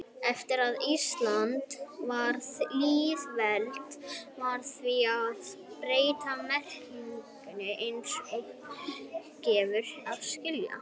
Eftir að Ísland varð lýðveldi varð því að breyta merkinu eins og gefur að skilja.